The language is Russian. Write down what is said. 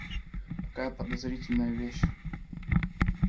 такая подозрительная вещь